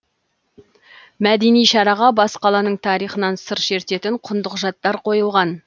мәдени шараға бас қаланың тарихынан сыр шертетін құнды құжаттар қойылған